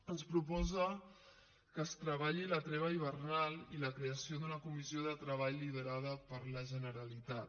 ens proposa que es treballi la treva hivernal i la creació d’una comissió de treball liderada per la generalitat